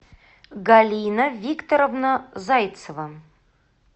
галина викторовна зайцева